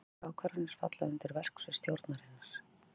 Slíkar ákvarðanir falla undir verksvið stjórnarinnar.